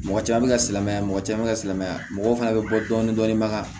Mɔgɔ caman bɛ ka silamɛya mɔgɔ caman bɛ ka silamɛya mɔgɔ fana bɛ bɔ dɔɔnin dɔɔnin baga